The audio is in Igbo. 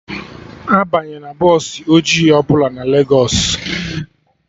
Abanyena bọsụ ọjị ọbụla na Legos